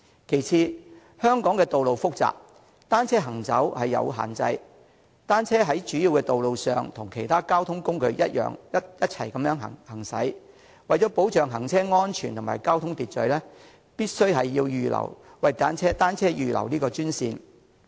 其次，香港的道路複雜，單車行走有限制，若單車在主要道路上與其他交通工具一同行駛，為了保障行車安全和交通秩序，必須為單車預留專線。